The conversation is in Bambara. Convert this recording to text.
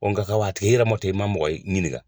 O nka wa t'a tigɛ i yɛrɛma ten i ma mɔgɔ ɲininka